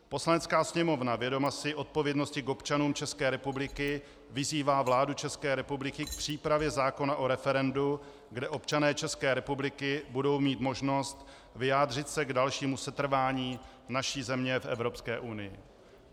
Poslanecká sněmovna vědoma si odpovědnosti k občanům České republiky vyzývá vládu České republiky k přípravě zákona o referendu, kde občané České republiky budou mít možnost vyjádřit se k dalšímu setrvání naší země v Evropské unii."